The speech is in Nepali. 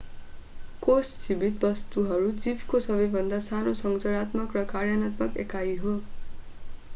कोष जीवित वस्तुहरू जीवको सबैभन्दा सानो संरचनात्मक र कार्यात्मक एकाई हो।